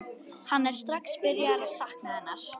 Hann er strax byrjaður að sakna hennar.